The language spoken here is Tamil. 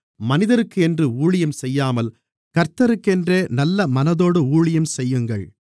மனிதருக்கென்று ஊழியம் செய்யாமல் கர்த்தருக்கென்றே நல்லமனதோடு ஊழியம் செய்யுங்கள்